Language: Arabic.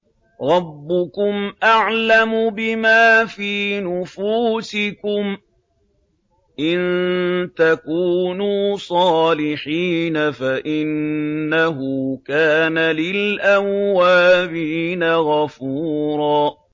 رَّبُّكُمْ أَعْلَمُ بِمَا فِي نُفُوسِكُمْ ۚ إِن تَكُونُوا صَالِحِينَ فَإِنَّهُ كَانَ لِلْأَوَّابِينَ غَفُورًا